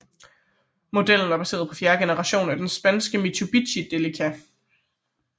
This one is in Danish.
Modellen var baseret på fjerde generation af den japanske Mitsubishi Delica